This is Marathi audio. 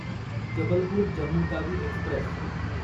जबलपूर जम्मू तावी एक्स्प्रेस